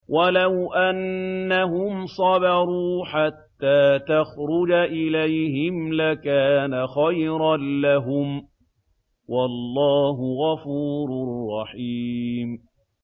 وَلَوْ أَنَّهُمْ صَبَرُوا حَتَّىٰ تَخْرُجَ إِلَيْهِمْ لَكَانَ خَيْرًا لَّهُمْ ۚ وَاللَّهُ غَفُورٌ رَّحِيمٌ